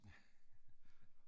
Ja